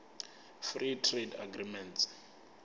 free trade agreements